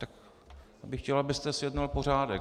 Já bych chtěl, abyste zjednal pořádek.